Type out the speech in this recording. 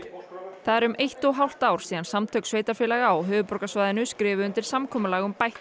það er um eitt og hálft ár síðan Samtök sveitarfélaga á höfuðborgarsvæðinu skrifuðu undir samkomulag um bætta